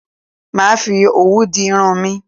Màá fi òwú di irun mi